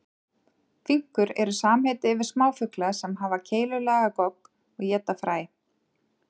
Finkur eru samheiti yfir smáfugla sem hafa keilulaga gogg og éta fræ.